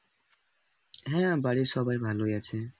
হ্যাঁ, বাড়ির সবাই ভালোই আছে